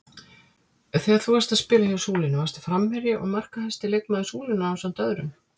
Þegar þú varst að spila hjá Súlunni varstu framherji og markahæsti leikmaður Súlunnar ásamt öðrum?